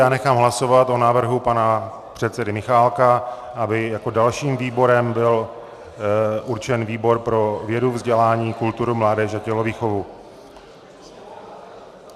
Já nechám hlasovat o návrhu pana předsedy Michálka, aby jako dalším výborem byl určen výbor pro vědu, vzdělání, kulturu, mládež a tělovýchovu.